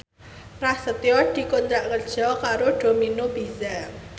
Prasetyo dikontrak kerja karo Domino Pizza